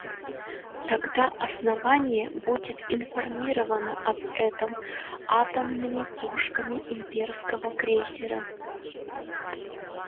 тогда основание будет информировано об этом атомными пушками имперского крейсера